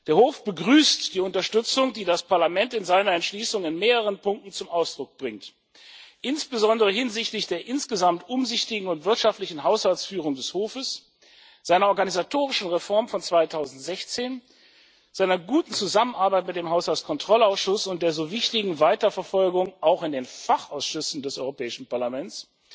Der Hof begrüßt die Unterstützung, die das Parlament in seiner Entschließung in mehreren Punkten zum Ausdruck bringt, insbesondere hinsichtlich der insgesamt umsichtigen und wirtschaftlichen Haushaltsführung des Hofes, seiner organisatorischen Reform von 2016, seiner guten Zusammenarbeit mit dem Haushaltskontrollausschuss und der so wichtigen Weiterverfolgung auch in den Fachausschüssen des Europäischen Parlaments,